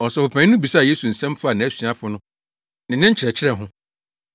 Ɔsɔfopanyin no bisaa Yesu nsɛm faa nʼasuafo no ne ne nkyerɛkyerɛ ho.